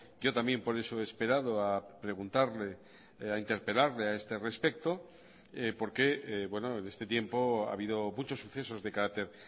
yo también por eso he esperado a preguntarle a interpelarle a este respecto porque en este tiempo ha habido muchos sucesos de carácter